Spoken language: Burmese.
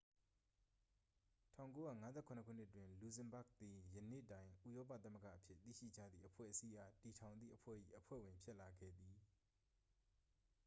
1957 ခုနှစ်တွင် လူဇင်ဘာ့ဂ်သည် ယနေ့တွင် ဥရောပသမဂ္ဂအဖြစ် သိရှိကြသည့်အဖွဲ့အစည်းအား တည်ထောင်သည့်အဖွဲ့၏ အဖွဲ့ဝင်ဖြစ်လာခဲ့သည်